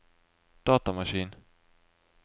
datamaskin